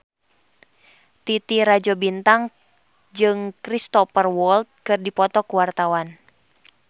Titi Rajo Bintang jeung Cristhoper Waltz keur dipoto ku wartawan